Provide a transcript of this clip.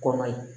Kɔn ye